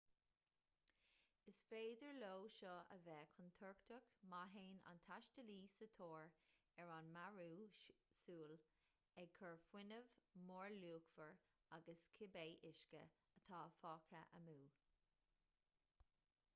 is féidir leo seo a bheith contúirteach má théann an taistealaí sa tóir ar an mearú súl ag cur fuinneamh mórluachmhar agus cibé uisce atá fágtha amú